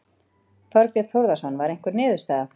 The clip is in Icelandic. Þorbjörn Þórðarson: Var einhver niðurstaða?